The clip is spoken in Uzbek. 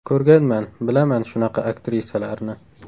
Ko‘rganman, bilaman shunaqa aktrisalarni.